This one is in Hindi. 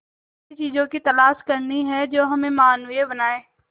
ऐसी चीजों की तलाश करनी है जो हमें मानवीय बनाएं